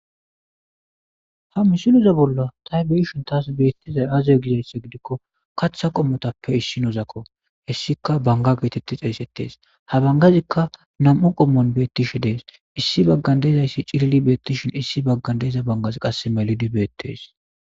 Ha misiluza bolla tay biishon taas beettizay aziyo gizaysse gidikko katha qommotappe issi nozakko hessika banga geetetti xeeysettees ha bangazikka nam'u qommoon beettishi dees issi baggan deezayssi cilili beettishin issi baggan deeza bangaz qass melidi beettees.